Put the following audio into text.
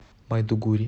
майдугури